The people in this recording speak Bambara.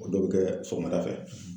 O dɔw be kɛ sɔgɔmada fɛ.